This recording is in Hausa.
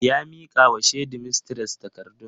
Ya mika wa shedimistres takardun.